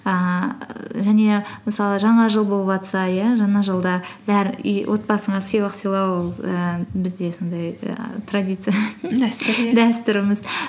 ііі және мысалы жаңа жыл болыватса иә жаңа жылда отбасыңа сыйлық сыйлау ііі бізде сондай і традиция дәстүр иә дәстүріміз